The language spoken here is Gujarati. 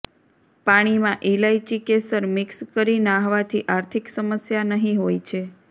પાણીમાં ઈલાયચી કેસર મિક્સ કરી નહાવાથી આર્થિક સમસ્યા નહી હોય છે